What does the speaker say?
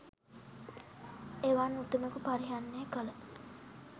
එවන් උතුමකු පරිහරණය කළ